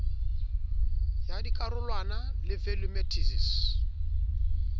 ya dikarolwana le value matices